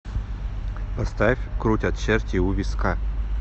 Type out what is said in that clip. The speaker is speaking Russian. поставь крутят черти у виска